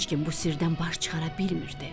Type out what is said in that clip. Heç kim bu sirdən baş çıxara bilmirdi.